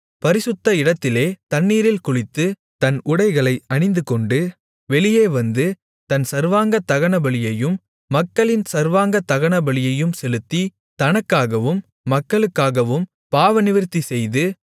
பரிசுத்த இடத்திலே தண்ணீரில் குளித்து தன் உடைகளை அணிந்துகொண்டு வெளியே வந்து தன் சர்வாங்கதகனபலியையும் மக்களின் சர்வாங்கதகனபலியையும் செலுத்தி தனக்காகவும் மக்களுக்காகவும் பாவநிவிர்த்தி செய்து